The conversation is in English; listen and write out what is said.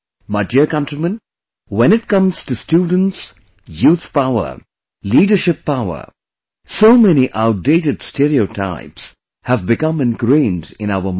My dear countrymen, when it comes to students, youth power, leadership power, so many outdated stereotypes have become ingrained in our mind